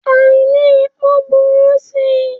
Àìní epo ń burú sí i.